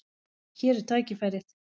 Hér er tækifærið.